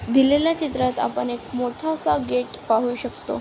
दिलेल्या चित्रात आपण मोठा असा गेट पाहू शकतो.